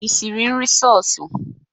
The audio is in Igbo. Ị siri nri seosu?